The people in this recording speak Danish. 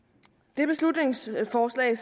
det beslutningsforslag